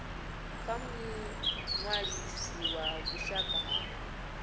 kha muṅwalisi wa vhushaka ha